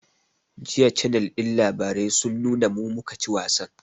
Jiya cannel ɗin labarai sun nuna mu, mu ka ci wasan